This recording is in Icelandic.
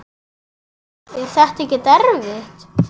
Hödd: Er þetta ekkert erfitt?